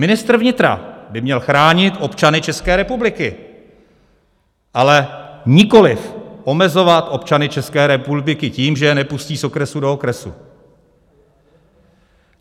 Ministr vnitra by měl chránit občany České republiky, ale nikoliv omezovat občany České republiky tím, že je nepustí z okresu do okresu.